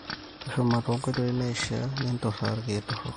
tushuma tenkoitoi naishiaa, ne`nturra irrkiek torrok